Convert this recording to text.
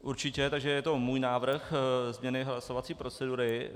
Určitě, takže je to můj návrh změny hlasovací procedury.